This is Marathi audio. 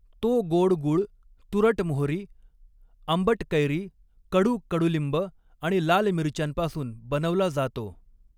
तो गोड गूळ, तुरट मोहरी, आंबट कैरी, कडू कडुलिंब आणि लाल मिरच्यांपासून बनवला जातो.